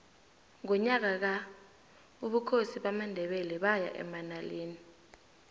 ngonyaka ka ubukhosi bamandebele baya emanaleli